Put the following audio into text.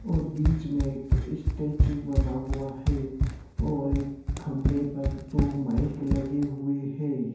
और बीच में एक स्टेचू बना हुआ है और एक खम्बें पर दो माइक लगे हुए हे ।